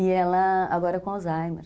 E ela agora com Alzheimer.